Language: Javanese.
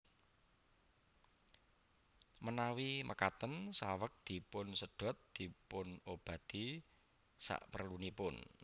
Manawi makaten saweg dipunsedhot dipunobati saprelunipun